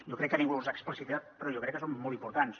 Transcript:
jo crec que ningú els ha explicitat però jo crec que són molt importants